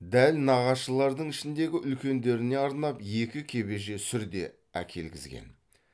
дәл нағашылардың ішіндегі үлкендеріне арнап екі кебеже сүр де әкелгізген